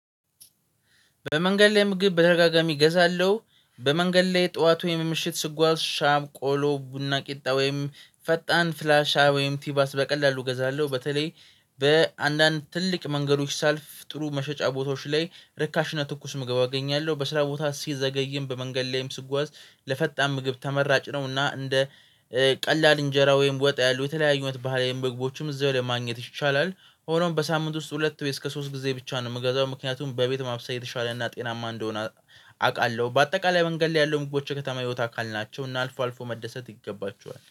በመንገድ ላይ ምግብ በተረጋጋሚ እገዛለሁ። በመንገድ ላይ ጠዋት ወይም ምሽት ስጓዝ ሻም ቆሎ ቡና ቂጣ ወይም ፈጣን ፍላሻ ወይም ቲባስ በቀላሉ እገዛለሁ። በተለይ በአንዳንድ ትልቅ መንገዶች ሳልፍ ጥሩ መሸጫ ቦታዎች ላይ ርካሽ እና ትኩስ ምግብ አገኛለሁ በስራ ቦታ ሲዘገይም በመንገድ ላይም ስጓዝ። ለፈጣን ምግብ ተመራጭ ነውና እንደ ቀላል እንጀራ ወይም ወጥ ያሉ የተለያዩ ባህላዊ ምግቦችም እዛው ላይ ማግኘት ይቻላል። ሆኖም በሳምንት ውስጥ ሁለት ወይ እስከ ሶስት ጊዜ ብቻ ነው የምገዛው ምክንያቱም በቤት ማብሰ የተሻለና እና ጤናማ እንደሆነ አውቃለሁ። በአጠቃላይ መንገድ ላይ ያለው ምግቦች የከተማ ህይወት አካል ናቸው። እና አልፎ አልፎ መደሰት ይገባቸዋል